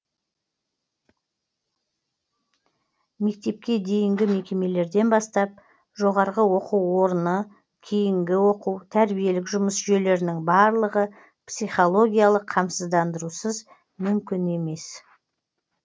мектепке дейінгі мекемелерден бастап жоғарғы оқу орындары кейінгі оқу тәрбиелік жұмыс жүйелерінің барлығы психологиялық қамсыздандырусыз мүмкін емес